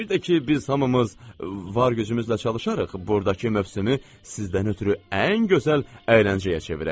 Bir də ki, biz hamımız var gücümüzlə çalışarıq, burdakı mövsümü sizdən ötrü ən gözəl əyləncəyə çevirək.